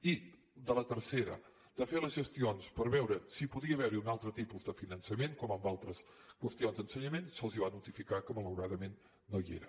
i de la tercera de fer les gestions per veure si podia haver hi un altre tipus de finançament com en altres qüestions d’ensenyament se’ls va notificar que malauradament no hi era